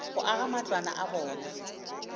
go aga matlwana a bona